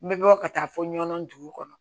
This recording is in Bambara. N bɛ bɔ ka taa fɔ ɲɔnɔn dugu kɔnɔ